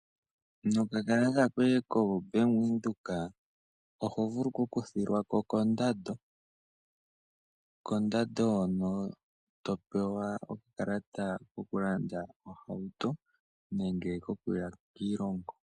Nokakalata koye koBank Windhoek oho vulu oku kuthilwako kondando, hono to pewa okakalata koku landa ohauto nenge koku ya kiilongo.